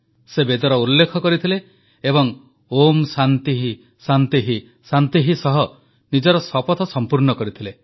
ସେ ବେଦର ଉଲ୍ଲେଖ କରିଥିଲେ ଏବଂ ଓଁ ଶାନ୍ତିଃ ଶାନ୍ତିଃ ଶାନ୍ତିଃ ସହ ନିଜର ଶପଥ ସମ୍ପୂର୍ଣ୍ଣ କରିଥିଲେ